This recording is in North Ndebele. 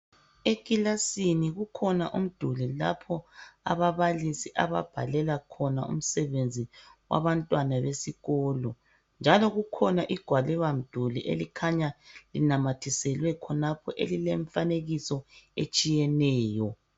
Ekilasini kukhona umduli lapho ababalisi ababhalela khona umsebenzi wabantwana besikolo, njalo kukhona igwaliba mduli elikhanya linamathiselwe khonapho elilemfanekiso etshiyeneyo.